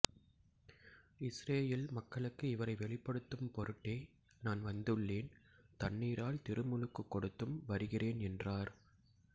இஸ்ரயேல் மக்களுக்கு இவரை வெளிப்படுத்தும் பொருட்டே நான் வந்துள்ளேன் தண்ணீரால் திருமுழுக்குக் கொடுத்தும் வருகிறேன் என்றார்